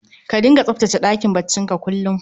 Ka dinga tsaftace ɗakin bacci ka kullum